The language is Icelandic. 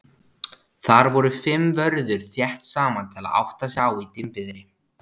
Þar voru fimm vörður þétt saman til að átta sig á í dimmviðri.